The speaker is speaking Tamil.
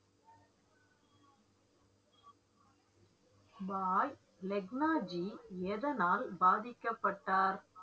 பாய் லெக்னாஜி எதனால் பாதிக்கப்பட்டார்